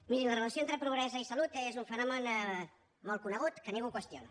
mirin la relació entre pobresa i salut és un fenomen molt conegut que ningú qüestiona